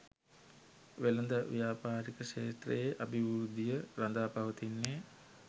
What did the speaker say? වෙළඳ ව්‍යාපාරික ක්ෂේත්‍රයේ අභිවෘද්ධිය රඳා පවතින්නේ